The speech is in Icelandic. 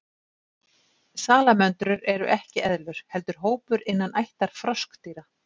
Salamöndrur eru ekki eðlur heldur hópur innan ættar froskdýra.